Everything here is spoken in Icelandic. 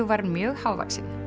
var mjög hávaxinn